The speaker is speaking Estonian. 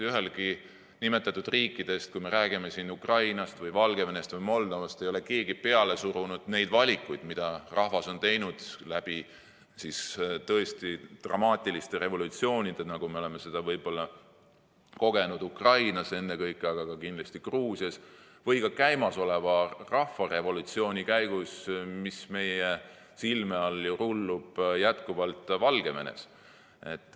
Ühelegi nimetatud riikidest, kui me räägime Ukrainast, Valgevenest või Moldovast, ei ole keegi peale surunud neid valikuid, mida rahvas on teinud tõesti dramaatiliste revolutsioonidega, nagu me oleme seda võib-olla kogenud ennekõike Ukrainas, aga ka kindlasti Gruusias või käimasoleva rahvarevolutsiooni käigus, mis meie silme all ju rullub jätkuvalt Valgevenes.